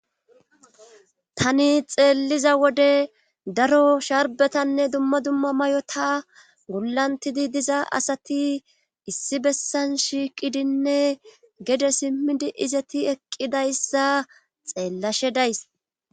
tani xeelliza wode daro sharbetanne dumma dumma may7o ta gulantidi diza asati issi bessan shiiqidinne gede simmidi izati eqqidayssa xeellashe days